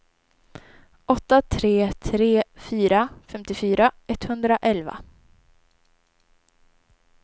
åtta tre tre fyra femtiofyra etthundraelva